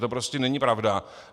To prostě není pravda.